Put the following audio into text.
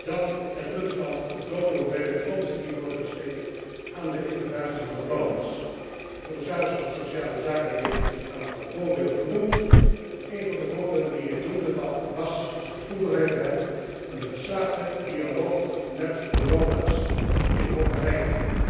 Dan het punt van de grote hoeveelheid fondsen die worden besteed aan de integratie van de Roma. De commissaris van sociale zaken heeft een aantal voorbeelden genoemd en een van de voorbeelden die hij noemde was, als ik het goed begrepen heb, een geslaagde dialoog met de Roma in Hongarije.